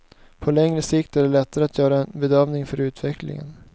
På längre sikt är det lättare att göra en bedömning för utevcklingen.